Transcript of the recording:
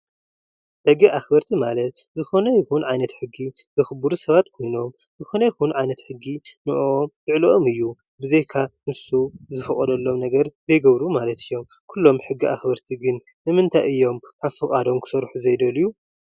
ሕጊ ኣክበርቲ ማለት ዝኮነ ይኩን ዓይነት ሕጊ ዘክብሩ ሰብ ዝኮነ ይኩን ዓይነት ሕጊ ን ኣምልዕሊኦም እዩ። ኩሎም ሕጊ ኣክበርቲ ንምንታይ እዮም ካብ ፈቃዶም ክሰርሑ ዘይደልዩ?